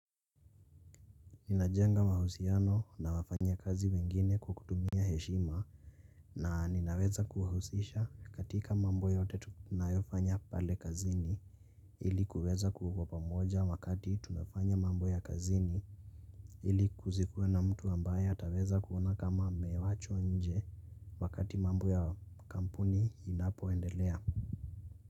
Ninajenga mahusiano na wafanya kazi wengine kukutumia heshima na ninaweza kuhuhusisha katika mambo yote tunayofanya pale kazini ilikuweza kuwa pamoja wakati tunafanya mambo ya kazini ilikuwe na mtu ambaye atareza kuona kama amewachwa nje wakati mambo ya kampuni inapoendelea.